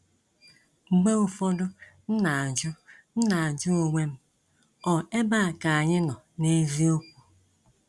Mgbe ụfọdụ m na ajụ m na ajụ onwe m, ọ ebea ka anyị nọ n'eziokwu?